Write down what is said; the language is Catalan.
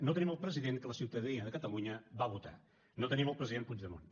no tenim el president que la ciutadania de catalunya va votar no tenim el president puigdemont